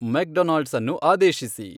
McDonald's ಅನ್ನು ಆದೇಶಿಸಿ